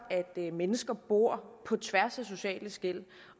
at mennesker bor på tværs af sociale skel